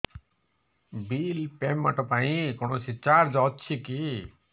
bill payment ପାଇଁ କୌଣସି charge ଅଛି କି